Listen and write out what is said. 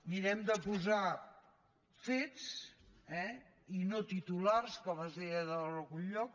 mirem de posar fets eh i no titulars com es deia en algun lloc